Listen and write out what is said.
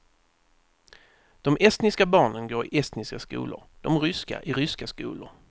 De estniska barnen går i estniska skolor, de ryska i ryska skolor.